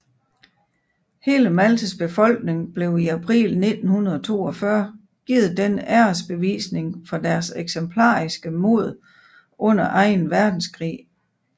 Hele Maltas befolkning blev i april 1942 givet denne æresbevisningen for deres eksemplariske mod under anden verdenskrig